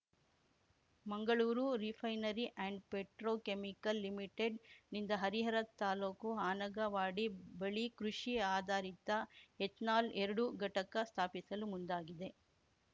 Mangaluru refinery and petrochemical ಲಿಮಿಟೆಡ್ನಿಂದ ಹರಿಹರ ತಾಲೂಕು ಹನಗವಾಡಿ ಬಳಿ ಕೃಷಿ ಆಧಾರಿತ ಎಥೆನಾಲ್‌ಎರಡು ಘಟಕ ಸ್ಥಾಪಿಸಲು ಮುಂದಾಗಿದೆ